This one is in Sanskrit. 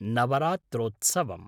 नवरात्रोत्सवम्